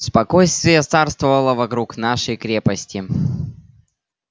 спокойствие царствовало вокруг нашей крепости